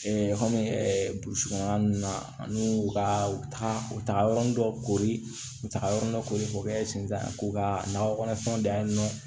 kɔmi ɛ burusi kɔnɔna nunnu na an y'u ka u taga u taga yɔrɔnin dɔ kori ka yɔrɔ dɔ kori k'o kɛ sentanko ka nakɔkɔnɔ fɛnw dan ye nɔ